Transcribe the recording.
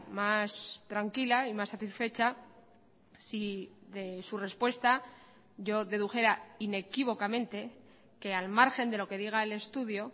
más tranquila y más satisfecha si de su respuesta yo dedujera inequívocamente que al margen de lo que diga el estudio